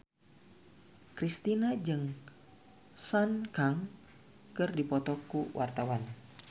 Kristina jeung Sun Kang keur dipoto ku wartawan